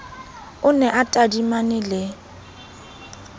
o ne a tadimane le